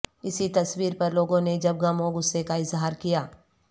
اسی تصویر پر لوگوں نے جب غم و غصے کا اظہار کیا